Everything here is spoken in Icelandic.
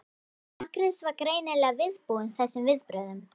Agnes var greinilega viðbúin þessum viðbrögðum.